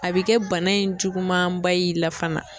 A bɛ kɛ bana in juguman ba y'i la fana.